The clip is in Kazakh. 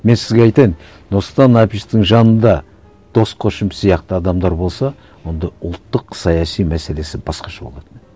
мен сізге айтайын нұрсұлтан әбішевичтің жанында дос көшім сияқты адамдар болса онда ұлттық саяси мәселесі басқаша болатын еді